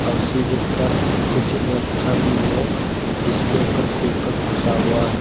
उसी के ऊपर कुछ रखा भी है जिसके ऊपर पेपर फसा हुआ है।